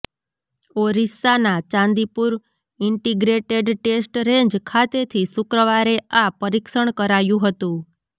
ઓરિસ્સાના Chandipur integrated test range ખાતેથી શુક્રવારે આ પરીક્ષણ કરાયું હતું